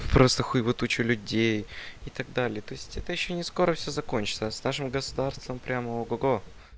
просто хуева туча людей и так далее то есть это ещё не скоро все закончится с нашим государством прямо ого-го го